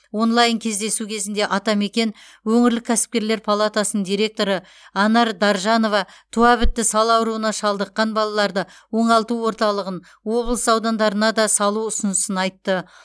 онлайн кездесу кезінде атамекен өңірлік кәсіпкерлер палатасының директоры анар даржанова туабітті сал ауруына шалдыққан балаларды оңалту орталығын облыс аудандарына да салу ұсынысын айтты